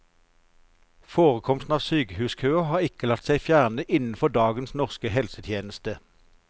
Forekomsten av sykehuskøer har ikke latt seg fjerne innenfor dagens norske helsetjeneste.